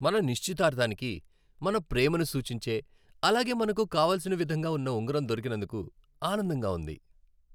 మన నిశ్చితార్థానికి మన ప్రేమను సూచించే అలాగే మనకు కావలసిన విధంగా ఉన్న ఉంగరం దొరికినందుకు ఆనందంగా ఉంది.